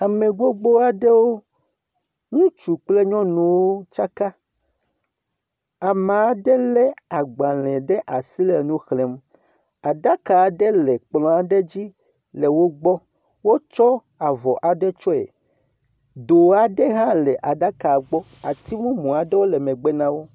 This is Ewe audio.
Ame gbogbo aɖewo, ŋutsu kple nyɔnuwo tsaka, ame aɖe lé agbalẽ ɖe asi le nu xlẽm. Aɖaka aɖe le kplɔa ɖe dzi le wo gbɔ, wotsɔ avɔ aɖe tsyɔe. Do aɖe hã le aɖaka gbɔ, ati mumu aɖewo le megbe na wo.